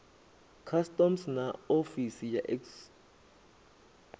customs na ofisi ya excise